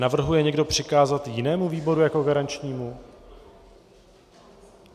Navrhuje někdo přikázat jinému výboru jako garančnímu?